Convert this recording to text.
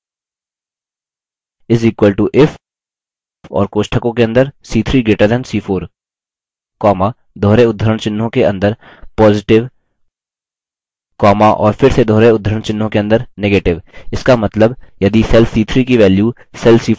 is equal to if और कोष्टकों के अंदर c3 greater than c4 comma दोहरे उद्धरण चिह्नों के अंदर positive comma और फिर से दोहरे उद्धरण चिह्नों के अंदर negative